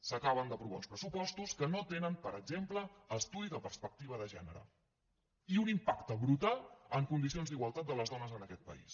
s’acaben d’aprovar uns pressupostos que no tenen per exemple estudi de perspectiva de gènere i un impacte brutal en condicions d’igualtat de les dones en aquest país